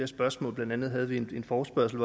spørgsmål blandt andet havde vi en forespørgsel